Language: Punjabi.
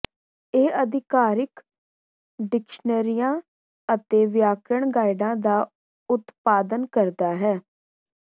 ਇਹ ਅਧਿਕਾਰਿਕ ਡਿਕਸ਼ਨਰੀਆਂ ਅਤੇ ਵਿਆਕਰਣ ਗਾਈਡਾਂ ਦਾ ਉਤਪਾਦਨ ਕਰਦਾ ਹੈ